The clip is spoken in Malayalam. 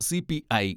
C P I